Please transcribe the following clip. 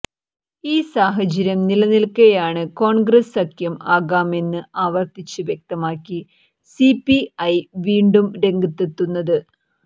ഈ സാഹചര്യം നിലനില്ക്കെയാണ് കോണ്ഗ്രസ് സഖ്യം ആകാമെന്ന് ആവര്ത്തിച്ച് വ്യക്തമാക്കി സിപിഐ വീണ്ടും രംഗത്തെത്തുന്നത്